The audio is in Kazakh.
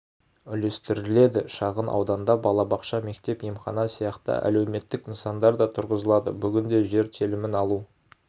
үлестіріледі шағын ауданда балабақша мектеп емхана сияқты әлеуметтік нысандар да тұрғызылады бүгінде жер телімін алу